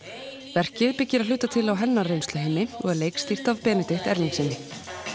verkið byggir að hluta til á hennar reynsluheimi og er leikstýrt af Benedikt Erlingssyni